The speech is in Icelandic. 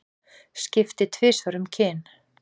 Skipti tvisvar um kyn